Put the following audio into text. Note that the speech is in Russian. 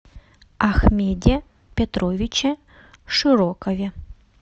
ахмеде петровиче широкове